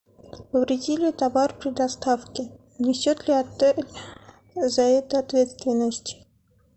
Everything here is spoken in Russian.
повредили товар при доставке несет ли отель за это ответственность